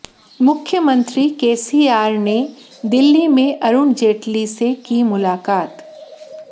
मुख्यमंत्री केसीआर ने दिल्ली में अरुण जेटली से की मुलाकात